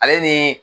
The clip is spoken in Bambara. Ale ni